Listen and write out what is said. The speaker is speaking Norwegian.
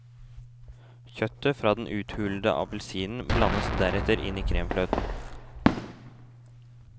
Kjøttet fra den uthulede appelsinen blandes deretter inn i kremfløten.